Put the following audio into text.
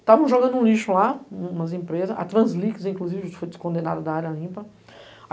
Estávamos jogando um lixo lá, umas empresas, a Translix inclusive, que foi descondenada da área limpa.